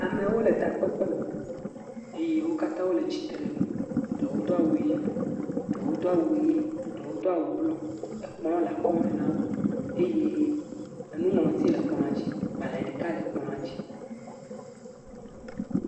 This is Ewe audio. Amewo le takpekpe me, eye wokatã wole tsitre nu, eɖewo do awu yibɔ, eɖewo do awu ʋe, eɖewo do awu blu. Ekpl le akɔme nawo eye enuŋlɔti le kpladzi gbãl0 ɖeka le kpladzi.